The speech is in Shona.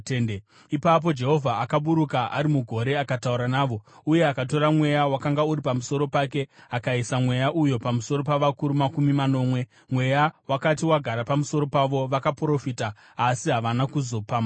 Ipapo Jehovha akaburuka ari mugore akataura navo uye akatora Mweya wakanga uri pamusoro pake akaisa Mweya uyu pamusoro pavakuru makumi manomwe. Mweya wakati wagara pamusoro pavo vakaprofita, asi havana kuzopamhazve.